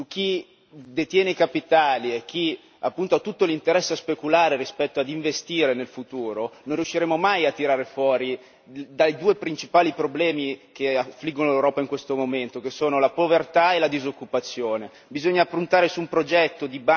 Nel momento in cui puntiamo su chi detiene capitali e chi, appunto, ha tutto l'interesse speculare rispetto a investire nel futuro, non riusciremo mai a tirarci fuori dai due principali problemi che affliggono l'Europa in questo momento, che sono la povertà e la disoccupazione.